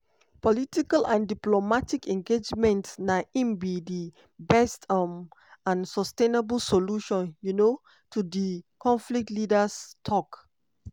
political and diplomatic engagement na im be di best um and sustainable solution um to di conflict leaders tok.